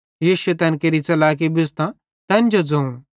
यीशुए तैन केरी च़लाकी बुझ़तां तैन जो ज़ोवं